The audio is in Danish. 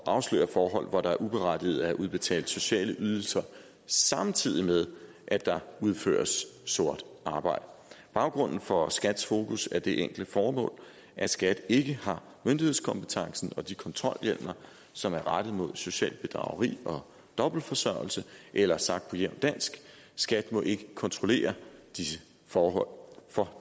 at afsløre forhold hvor der uberettiget er udbetalt sociale ydelser samtidig med at der udføres sort arbejde baggrunden for skats fokus er det enkle formål at skat ikke har myndighedskompetencen og de kontrolhjemler som er rettet mod socialt bedrageri og dobbeltforsørgelse eller sagt på jævnt dansk skat må ikke kontrollere for